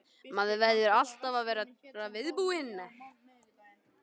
Maður verður alltaf að vera viðbúinn.